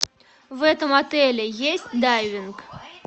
в этом отеле есть дайвинг